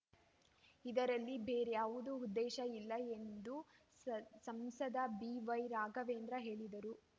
ಇದರಲ್ಲಿ ಬೇರಾರ‍ಯವ ಉದ್ದೇಶ ಇಲ್ಲ ಎಂದು ಸ ಸಂಸದ ಬಿ ವೈ ರಾಘವೇಂದ್ರ ಹೇಳಿದರು